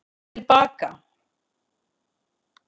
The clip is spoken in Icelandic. Til baka